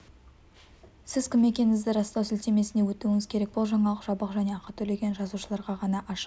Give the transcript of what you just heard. сіз кім екендігіңізді растау сілтемесіне өтуіңіз керек бұл жаңалық жабық және ақы төлеген жазылушыларға ғана ашық